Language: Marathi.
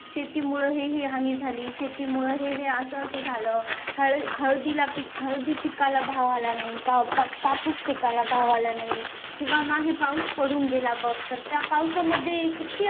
शेतीमुळे हे हि हानी झाली शेतीमुळे हे हे असं असं झालं हळदी पिकाला भाव आला नाही कापूस पिकाला भाव आला नाही किंवा मागे पाऊस पडून गेला बघ तर त्या पावसामध्ये किती